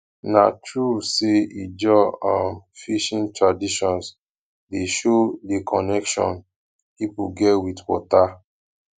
na true sey ijaw um fishing traditions dey show di connection pipo get wit water